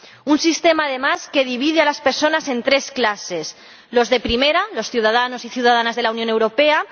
Un sistema, además, que divide a las personas en tres clases los de primera, los ciudadanos y ciudadanas de la Unión Europea